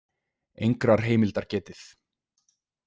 Engrar heimildar getið.